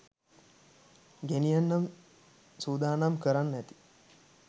ගෙනියන්න සුදානම් කරන්න ඇති